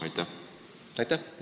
Aitäh!